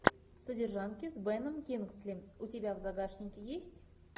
содержанки с беном кингсли у тебя в загашнике есть